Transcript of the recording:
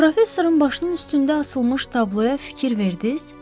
Professorun başının üstündə asılmış tabloya fikir verdiniz?